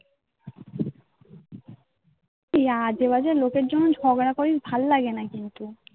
আজেবাজে লোকের জন্য ঝগড়া করি সেটা ভালো লাগে না. কিন্তু